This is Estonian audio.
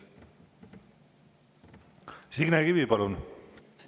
Signe Kivi, palun!